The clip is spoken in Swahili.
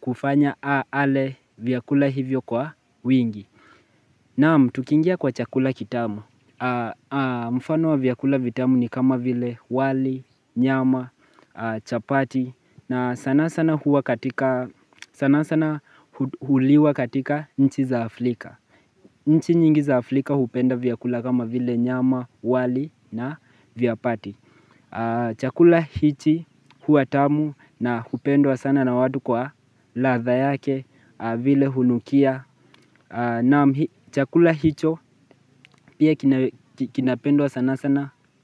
kufanya ale vyakula hivyo kwa wingi. Naam tukingia kwa chakula kitamu. Mfano wa vyakula vitamu ni kama vile wali, nyama, chapati. Na sana sana huliwa katika nchi za Aflika nchi nyingi za Aflika hupenda vyakula kama vile nyama wali na vyapati. Chakula hichi huwa tamu na hupendwa sana na watu kwa ladha yake vile hunukia Naam chakula hicho pia kinapendwa sana sana.